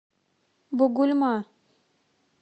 бугульма